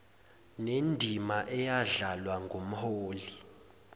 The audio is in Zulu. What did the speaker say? nendima eyadlalwa ngumholi